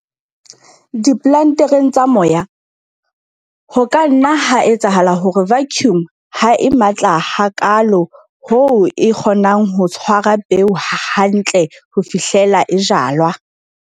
Diplantereng tsa moya, ho ka nna ha etsahala hore vacuum ha e matla hakaalo hoo e kgonang ho tshwara peo hantle ho fihlela e jalwa.